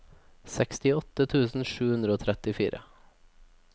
sekstiåtte tusen sju hundre og trettifire